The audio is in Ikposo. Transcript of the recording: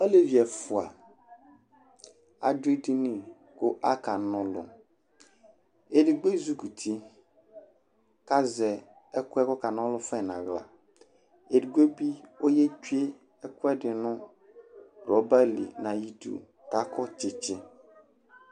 Alevi ɛfʋa adʋ edini kʋ akana ɔlʋ Edigbo ezikuti kʋ azɛ ɛkʋ yɛ kʋ ɔkana ɔlʋ fa yɛ nʋ aɣla Edigbo bɩ ɔyetsue ɛkʋɛdɩ nʋ rɔba li nʋ ayidu kʋ akɔ tsɩtsɩ